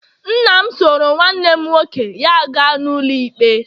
nna m soro nwanne nwoke ya gaa n'ụlọikpe